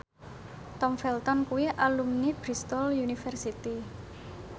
Tom Felton kuwi alumni Bristol university